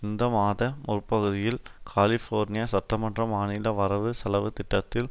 இந்த மாத முற்பகுதியில் கலிஃபோர்னிய சட்டமன்றம் மாநில வரவு செலவு திட்டத்தில்